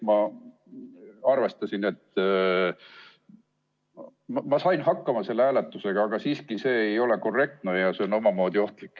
Ma sain hakkama selle hääletusega, aga siiski see ei ole korrektne ja on omamoodi ohtlik.